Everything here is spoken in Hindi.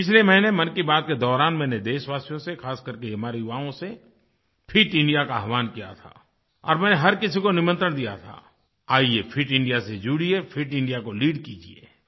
पिछले महीने मन की बात के दौरान मैंने देशवासियों से ख़ासकरके हमारे युवकों से फिट इंडिया का आह्वान किया था और मैंने हर किसी को निमंत्रण दिया था आइये फिट इंडिया से जुड़िये फिट इंडिया को लीड कीजिये